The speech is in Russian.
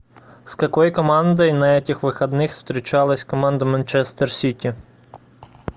с какой командой на этих выходных встречалась команда манчестер сити